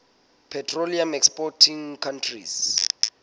petroleum exporting countries